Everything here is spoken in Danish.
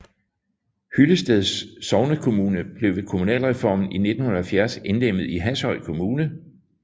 Hyllested sognekommune blev ved kommunalreformen i 1970 indlemmet i Hashøj Kommune